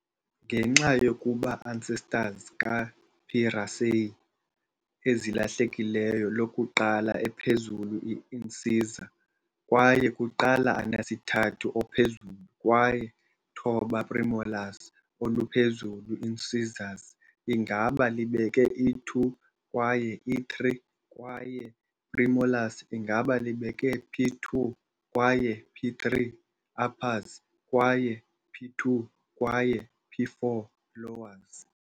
Ngenxa yokuba ancestors ka P. raceyi ezilahlekileyo lokuqala ephezulu i-incisor kwaye kuqala anesithathu ophezulu kwaye thoba premolars, oluphezulu i-incisors ingaba libeke i-2 kwaye i-3 kwaye premolars ingaba libeke P2 kwaye P3 uppers kwaye p2 kwaye p4 lowers.